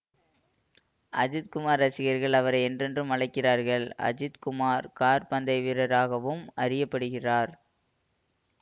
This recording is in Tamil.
அஜித் குமார் ரசிகர்கள் அவரை என்றும் என்றும் அழைக்கிறார்கள் அஜித் குமார் கார் பந்தய வீரராகவும் அறிய படுகிறார்